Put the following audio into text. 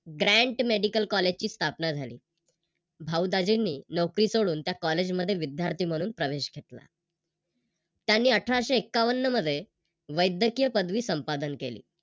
Grant medical college ची स्थापना झाली. भाऊ दाजीनीं नोकरी सोडून त्या कॉलेज मध्ये विद्यार्थी म्हणून प्रवेश घेतला. त्यांनी अठराशे एक्कावन्न मध्ये वैद्यकीय पदवी संपादन केली.